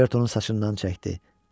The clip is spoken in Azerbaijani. Dostu Robertonun saçından çəkdi.